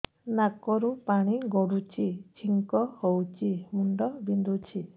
ନାକରୁ ପାଣି ଗଡୁଛି ଛିଙ୍କ ହଉଚି ମୁଣ୍ଡ ବିନ୍ଧୁଛି